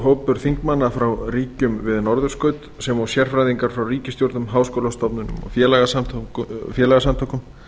hópur þingmanna frá ríkjum við norðurskaut sem og sérfræðingar frá ríkisstjórnum háskólastofnunum og félagasamtökum